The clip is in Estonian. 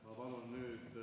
Ma palun nüüd ...